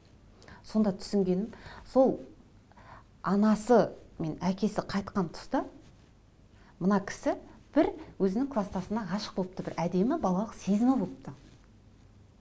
сонда түсінгенім сол анасы мен әкесі қайтқан тұста мына кісі бір өзінің кластасына ғашық болыпты бір әдемі балалық сезімі болыпты